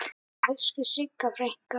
Elsku Sigga frænka.